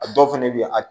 A dɔw fɛnɛ be yen a